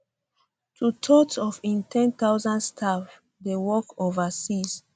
twothirds of im ten thousand staff dey work overseas